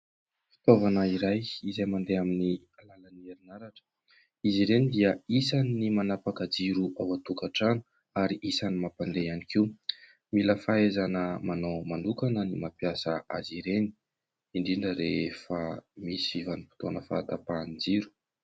Fitaovana iray izay mandeha amin'ny alalan'ny herinaratra. Izy ireny dia isan'ny manapaka jiro ao an-tokantrano ary isan'ny mampandeha ihany koa. Mila fahaizana manao manokana ny mampiasa azy ireny indrindra rehefa misy vanim-potoana fahatapahan'ny jiro.